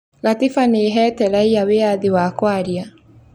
Gatiba nĩĩhete raia wĩyathi wa kwaria